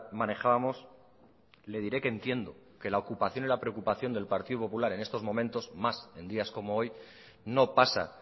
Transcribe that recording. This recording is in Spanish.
manejábamos le diré que entiendo que la ocupación y preocupación del partido popular en estos momentos más en días como hoy no pasa